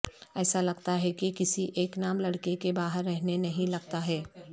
ایسا لگتا ہے کہ کسی ایک نام لڑکے کے باہر رہنے نہیں لگتا ہے